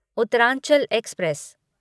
Uttaranchal express